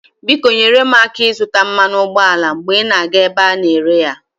Biko nyere m aka ịzụta mmanụ ụgbọala mgbe ị na-aga ebe a na-ere ya.